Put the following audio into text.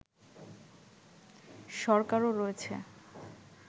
সরকারও রয়েছে